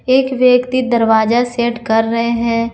एक व्यक्ति दरवाजा सेट कर रहे हैं।